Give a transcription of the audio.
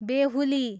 बेहुली